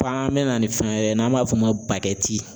mɛna ni fɛn wɛrɛ ye n'an b'a f'o ma